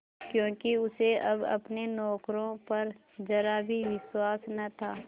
क्योंकि उसे अब अपने नौकरों पर जरा भी विश्वास न था